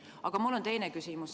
Aga mul on teine küsimus.